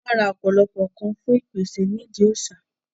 wọ́n ra ọ̀pọ̀lọpọ̀ ǹkan fún ìpèsè ní ìdí òsà